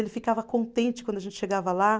Ele ficava contente quando a gente chegava lá.